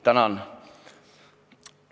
Tänan!